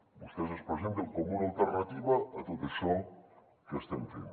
vostès es presenten com una alternativa a tot això que estem fent